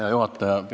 Hea juhataja!